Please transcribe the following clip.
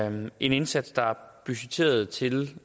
en indsats der er budgetteret til